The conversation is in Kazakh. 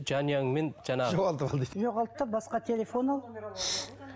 жанұямен жаңағы жоғалтып ал дейді жоғалт та басқа телефон ал